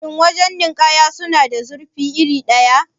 Shin wajan nikaya suna da zurfi iri ɗaya?